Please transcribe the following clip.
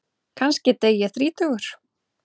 Kannski dey ég þrítugur.